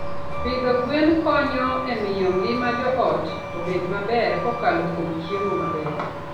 Pidho gwen konyo e miyo ngima joot obed maber kokalo kuom chiemo maber.